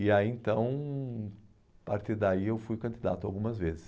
E aí, então, a partir daí eu fui candidato algumas vezes.